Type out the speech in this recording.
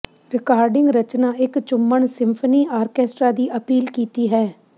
recording ਰਚਨਾ ਇਕ ਚੁੰਮਣ ਸਿੰਫਨੀ ਆਰਕੈਸਟਰਾ ਦੀ ਅਪੀਲ ਕੀਤੀ ਹੈ